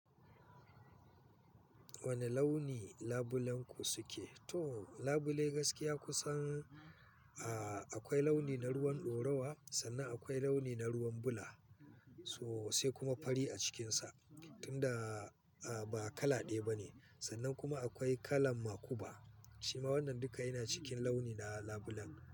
Wane launi labulenku suke? To labulai gaskiya kusan, a akwai launi na ruwan dorawa, sannan akwai launi na ruwan bula, so sai kuma fari a cikinsa. Tun da, a-ba kala ɗaya ba ne, sannan kuma akwai kalan makuba. Shima wannan duka yana cikin launi na labulen.